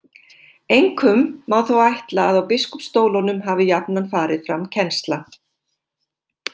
Einkum má þó ætla að á biskupsstólunum hafi jafnan farið fram kennsla.